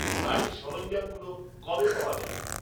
গাড়ির সরঞ্জামগুলো কবে পাওয়া যাবে?